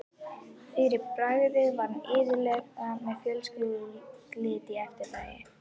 Fyrir bragðið var hún iðulega með fjölskrúðugt lið í eftirdragi.